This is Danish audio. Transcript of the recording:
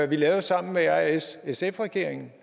vi lavede sammen med r s sf regeringen